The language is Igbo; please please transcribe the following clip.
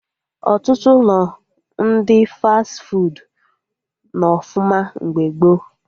Ọtụtụ ụlọ ndị fas fuudu nọ ọfụma mgbe gboo